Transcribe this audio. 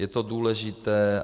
Je to důležité.